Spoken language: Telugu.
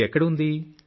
ఇది ఎక్కడ ఉంది